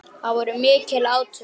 Það voru mikil átök.